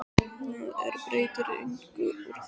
Það er breytir engu úr þessu.